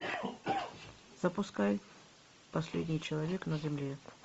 запускай последний человек на земле